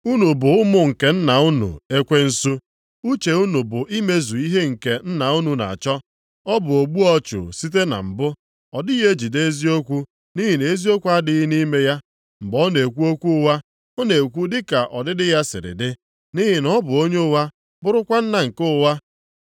Unu bụ ụmụ nke nna unu ekwensu. Uche unu bụ imezu ihe nke nna unu na-achọ. Ọ bụ ogbu ọchụ site na mbụ. Ọ dịghị ejigide eziokwu nʼihi na eziokwu adịghị nʼime ya. Mgbe ọ na-ekwu okwu ụgha, ọ na-ekwu dị ka ọdịdị ya sịrị dị, nʼihi na ọ bụ onye ụgha bụrụkwa nna nke ụgha.